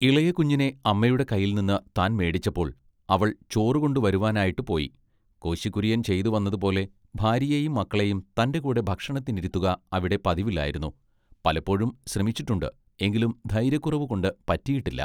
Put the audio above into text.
ഇളയ കുഞ്ഞിനെ അമ്മയുടെ കയ്യിൽനിന്ന് താൻ മേടിച്ചപ്പൊൾ അവൾ ചൊറുകൊണ്ടു വരുവാനായിട്ട് പോയി കോശി കുര്യൻ ചെയ്തുവന്നതു പോലെ ഭാര്യയേയും മക്കളെയും തന്റെ കൂടെ ഭക്ഷണത്തിനിരുത്തുക അവിടെ പതിവില്ലായിരുന്നു പലപ്പൊഴും ശ്രമിച്ചിട്ടുണ്ട് എങ്കിലും ധൈര്യക്കുറവുകൊണ്ട് പറ്റിയിട്ടില്ല.